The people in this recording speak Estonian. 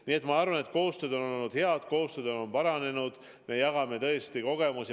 Nii et ma arvan, et koostöö on olnud hea, koostöö on paranenud, me jagame kogemusi.